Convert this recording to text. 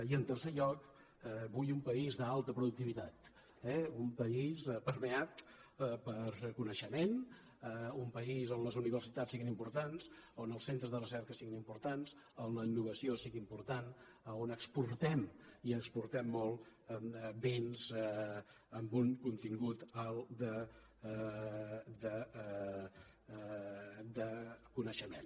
i en tercer lloc vull un país d’alta productivitat eh un país permeat per coneixement un país on les universitats siguin importants on els centres de recerca siguin importants on la innovació sigui important on exportem i exportem molt béns amb un contingut alt de coneixement